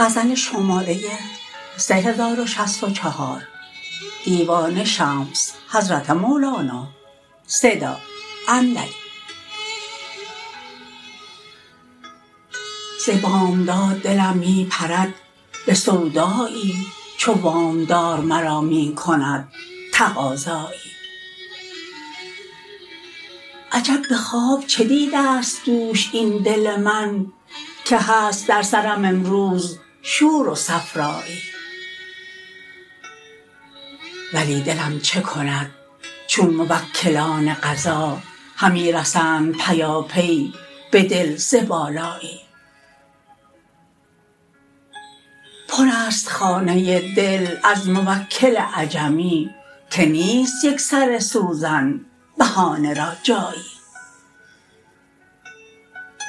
ز بامداد دلم می پرد به سودایی چو وام دار مرا می کند تقاضایی عجب به خواب چه دیده ست دوش این دل من که هست در سرم امروز شور و صفرایی ولی دلم چه کند چون موکلان قضا همی رسند پیاپی به دل ز بالایی پرست خانه دل از موکل عجمی که نیست یک سر سوزن بهانه را جایی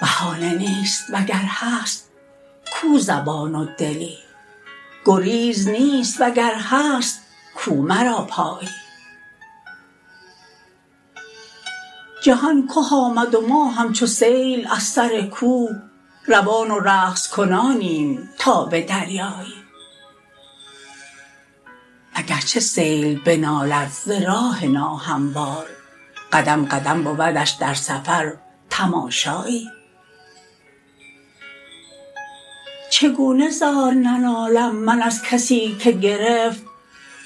بهانه نیست وگر هست کو زبان و دلی گریز نیست وگر هست کو مرا پایی جهان که آمد و ما همچو سیل از سر کوه روان و رقص کنانیم تا به دریایی اگر چه سیل بنالد ز راه ناهموار قدم قدم بودش در سفر تماشایی چگونه زار ننالم من از کسی که گرفت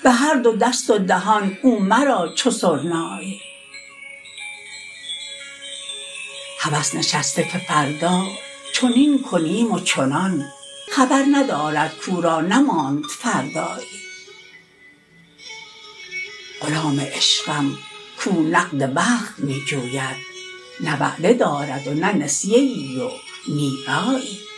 به هر دو دست و دهان او مرا چو سرنایی هوس نشسته که فردا چنین کنیم و چنان خبر ندارد کو را نماند فردایی غلام عشقم کو نقد وقت می جوید نه وعده دارد و نه نسیه ای و نی رایی